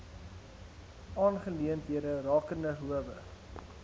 aangeleenthede rakende howe